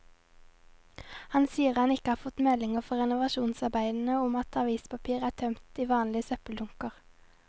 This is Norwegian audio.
Han sier han ikke har fått meldinger fra renovasjonsarbeiderne om at avispapir er tømt i vanlige søppeldunker.